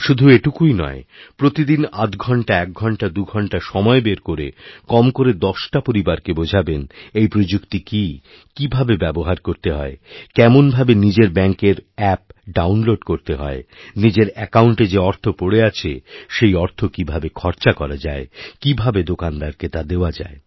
শুধু এইটুকুই নয়প্রতি দিন আধ ঘণ্টা এক ঘণ্টা দুঘণ্টা সময় বের করে কম করে দশটা পরিবারকে বোঝাবেনএই প্রযুক্তি কী কীভাবে ব্যবহার করতে হয় কেমনভাবে নিজের ব্যাঙ্কের অ্যাপ ডাউনলোডকরতে হয় নিজের অ্যাকাউন্টে যে অর্থ পড়ে আছে সেই অর্থ কীভাবে খরচা করা যায় কীভাবেদোকানদারকে তা দেওয়া যায়